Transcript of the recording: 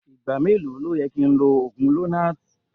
Igba melo ni o yẹ ki n lo oogun lonart?